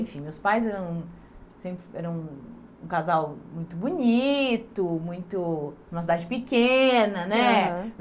Enfim, meus pais eram sempre eram um casal muito bonito, muito... Uma cidade pequena, né? Aham